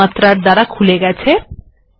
আমি এইবার সুমাত্রা খুলবো